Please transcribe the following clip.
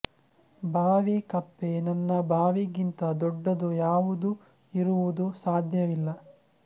ಬಾವಿ ಕಪ್ಪೆ ನನ್ನ ಬಾವಿಗಿಂತ ದೊಡ್ಡದು ಯಾವುದೂ ಇರುವುದು ಸಾಧ್ಯವಿಲ್ಲ